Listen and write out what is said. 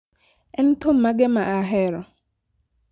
En thum mage ma ahero?